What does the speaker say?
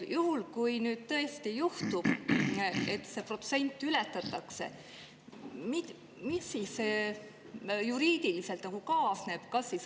Juhul, kui nüüd tõesti juhtub, et see protsent ületatakse, siis mis sellega juriidiliselt kaasneb?